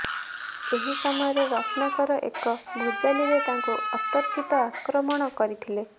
ଏହି ସମୟରେ ରତ୍ନାକର ଏକ ଭୁଜାଲିରେ ତାଙ୍କୁ ଅତର୍କିତ ଆକ୍ରମଣ କରିଥିଲେ